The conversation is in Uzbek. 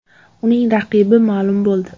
Uning raqibi ma’lum bo‘ldi.